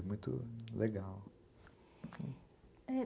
É muito legal.